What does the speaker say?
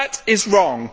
That is wrong.